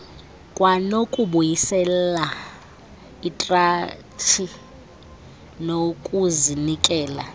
kwanokubuyisela ikratshi nokuzinikela